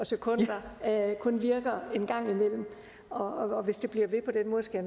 sekundtæller kun virker en gang imellem og hvis det bliver ved på den måde skal